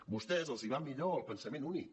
a vostès els va millor el pensament únic